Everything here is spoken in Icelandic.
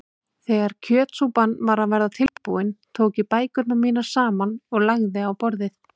Þegar kjötsúpan var að verða tilbúin tók ég bækurnar mínar saman og lagði á borðið.